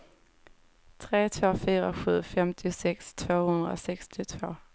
tre två fyra sju femtiosex tvåhundrasextiotvå